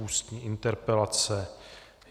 Ústní interpelace